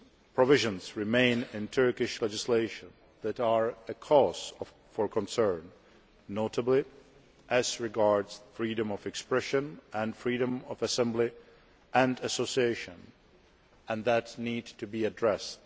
Provisions remain in Turkish legislation that are a cause for concern, notably as regards freedom of expression and freedom of assembly and association, and that needs to be addressed.